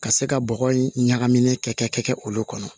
Ka se ka bɔgɔ in ɲagami ne kɛ olu kɔnɔ